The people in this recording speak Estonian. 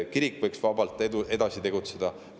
Kirik võib vabalt edasi tegutseda.